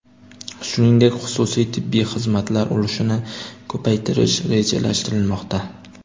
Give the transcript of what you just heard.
Shuningdek, xususiy tibbiy xizmatlar ulushini ko‘paytirish rejalashtirilmoqda.